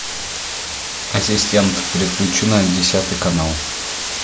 ассистент переключи на десятый канал